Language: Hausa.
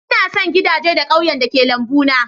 Ina son gidajen da ke kewaye da lambuna.